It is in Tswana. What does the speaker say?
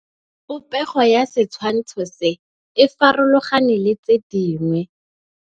Popêgo ya setshwantshô se, e farologane le tse dingwe.